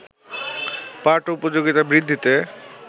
পাঠ-উপযোগিতা বৃদ্ধিতে